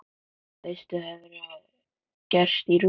Veistu hvað hefur gerst í Rússlandi?